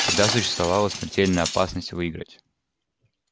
всегда существовала смертельная опасность выйграть